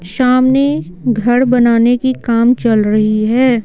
सामने घर बनाने की काम चल रही है।